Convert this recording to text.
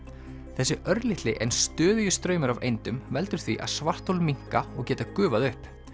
þessi örlitli en stöðugi straumur af veldur því að svarthol minnka og geta gufað upp